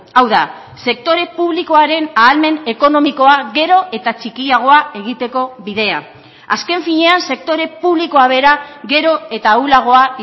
hau da sektore publikoaren ahalmen ekonomikoa gero eta txikiagoa egiteko bidea azken finean sektore publikoa bera gero eta ahulagoa